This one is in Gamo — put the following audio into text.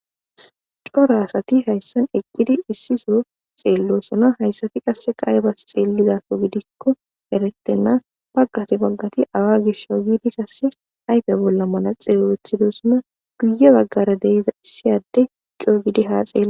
cora asati hayssan eqqidi issiso xeellosuna hayssati qasse qaayebas xeelizafo gidikko eretenna baggati baggati awa gisho giidi kasse ayfe bolla mala xeelethidosona guye baggara deiza issiyadde coo gidi haa xele